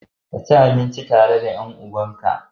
Kaci abinci tare da ƴan uwanbka.